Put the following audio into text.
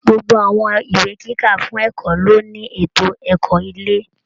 Gbogbo Àwọn ìwé kíkà fún ẹ̀kọ́ ló ní ètò ẹ̀kọ́ ilé